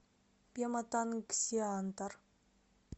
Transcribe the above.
пематангсиантар